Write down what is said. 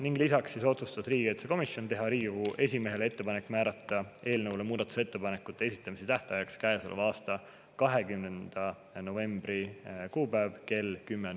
Ning lisaks otsustas riigikaitsekomisjon teha Riigikogu esimehele ettepaneku määrata muudatusettepanekute esitamise tähtajaks käesoleva aasta 20. november kell 10.